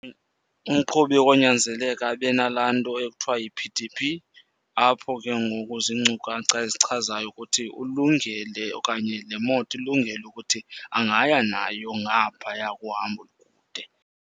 Umqhubi konyanzeleka abe nalaa nto ekuthiwa yi-P_D_P, apho ke ngoku ziinkcukacha ezichazayo ukuthi ulungele okanye le moto ilungele ukuthi angaya nayo ngaphaya kuhambo kude.